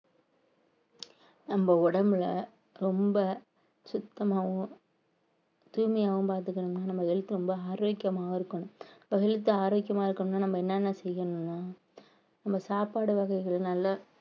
நம்ம உடம்புல ரொம்ப சுத்தமாவும் தூய்மையாவும் பாத்துக்கணும்ன்னா நம்ம health ரொம்ப ஆரோக்கியமாவும் இருக்கணும் health ஆரோக்கியமா இருக்கணும்னா நம்ம என்னென்ன செய்யணும்ன்னா நம்ம சாப்பாடு வகைகள் நல்ல